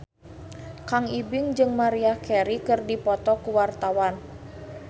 Kang Ibing jeung Maria Carey keur dipoto ku wartawan